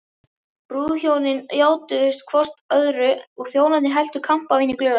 Brúðhjónin játuðust hvort öðru og þjónarnir helltu kampavíni í glös.